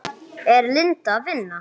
Er Linda að vinna?